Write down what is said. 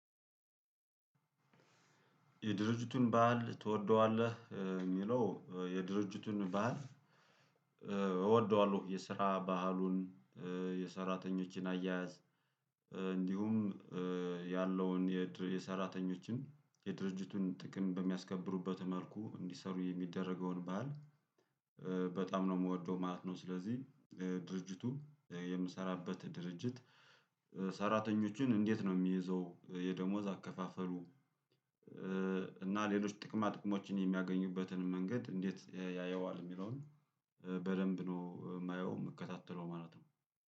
የድርጅቱን በዓል ትወደዋለህ የሚለው የድርጅቱን በዓል ባህል። እወደዋለሁ የስራ ባህሉን የሰራተኞችን አያያዝ። እንዲሁም ያለውን የሰራተኞችን የድርጅቱን ጥቅም በሚያስከብሩበት መልኩ እንዲሰሩ የሚደረገውን ባል በጣም ነው የምወደው ማለት ነው። ስለዚህ ድርጅቱ የምሰራበት ድርጅት። ሰራተኞችን እንዴት ነው የሚይዘው የደሞዝ አከፋፈሉ? እና ሌሎች ጥቅማ ጥቅሞችን የሚያገኙበትን መንገድ እንዴት ያየዋል የሚለውን? በደንብ ነው የማየው የምከታተለው ማለት ነው